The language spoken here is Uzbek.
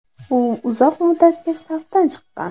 U uzoq muddatga safdan chiqqan.